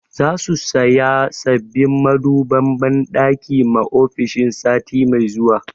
Za su saya sabbin maduban banɗaki ma ofishin sati mai zuwa